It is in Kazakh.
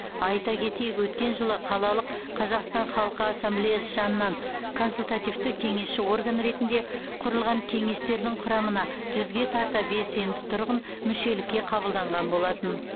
айта кетейік өткен жылы қалалық қазақстан халқы ассамблеясы жанынан консультативті кеңесші орган ретінде құрылған кеңестердің құрамына жүзге тарта белсенді тұрғын мүшелікке қабылданған болатын